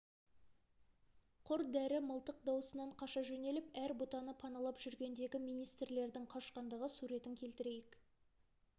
құр дәрі мылтық дауысынан қаша жөнеліп әр бұтаны паналап жүргендегі министрлердің қашқандағы суретін келтірейік